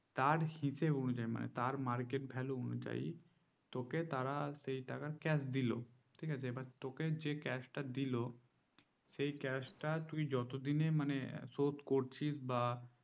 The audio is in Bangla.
তার হিসাব অনুযায়ী তার market value অনুযায়ী তোকে তারা সেই টাকা cash দিলো ঠিক আছে তোকে যে cash টা দিল সেই cash তা তুই যতদিনে মানে শোধ করছি বা